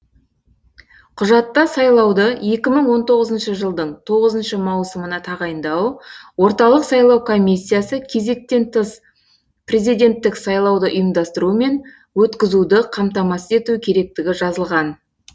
құжатта сайлауды екі мың он тоғызыншы жылдың тоғызыншы маусымына тағайындау орталық сайлау комиссиясы кезектен тыс президенттік сайлауды ұйымдастыру мен өткізуді қамтамасыз ету керектігі жазылған